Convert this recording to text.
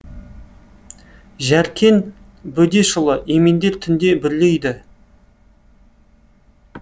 жәркен бөдешұлы емендер түнде бүрлейді